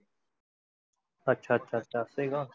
अच्छा अच्छा अच्छा असे आहे का?